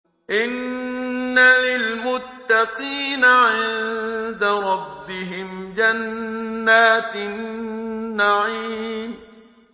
إِنَّ لِلْمُتَّقِينَ عِندَ رَبِّهِمْ جَنَّاتِ النَّعِيمِ